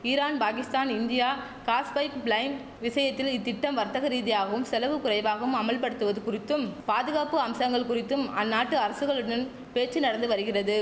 Iran Pakistan India gas pipeline விஷயத்தில் இத்திட்டம் வர்த்தக ரீதியாகவும் செலவு குறைவாகவும் அமல்படுத்துவது குறித்தும் பாதுகாப்பு அம்சங்கள் குறித்தும் அந்நாட்டு அரசுகளுடன் பேச்சு நடந்து வருகிறது